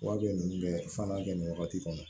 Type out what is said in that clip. Wa bɛ ninnu bɛɛ fana kɛ nin wagati kɔnɔ